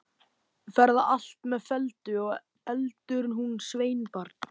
Fer það allt með felldu, og elur hún sveinbarn.